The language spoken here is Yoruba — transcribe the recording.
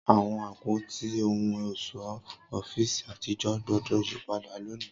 Awọn apoti ohun ọṣọ ọfiisi atijọ gbọdọ yipada loni!